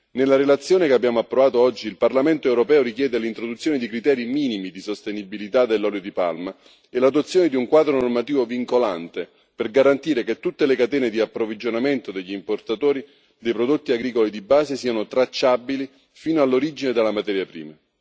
Nella relazione che abbiamo approvato oggi, il Parlamento europeo chiede l'introduzione di criteri minimi di sostenibilità dell'olio di palma e l'adozione di un quadro normativo vincolante per garantire che tutte le catene di approvvigionamento degli importatori di prodotti agricoli di base siano tracciabili fino all'origine della materia prima.